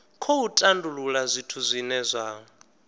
khou tandulula zwithu zwine zwa